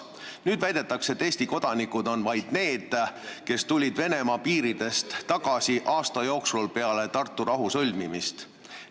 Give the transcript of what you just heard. Nüüd väidetakse, et Eesti kodanikud on vaid need, kes tulid Venemaa piiridest tagasi aasta jooksul peale Tartu rahu sõlmimist.